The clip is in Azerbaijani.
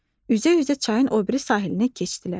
Üzə-üzə çayın o biri sahilinə keçdilər.